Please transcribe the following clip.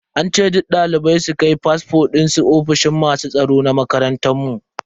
An ce duk dalibai su kai fasfo dinsu ofishin masu tsaro na makarantar mu.